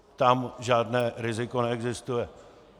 Tam žádné riziko neexistuje.